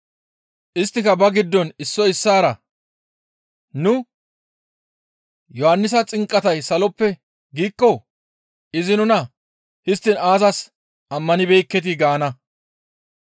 Isttika ba giddon issoy issaara, «Nu, ‹Yohannisa xinqatay saloppe› giikko izi nuna, ‹Histtiin aazas ammanibeekketii?› gaana.